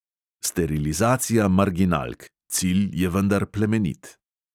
Sterilizacija marginalk, cilj je vendar plemenit.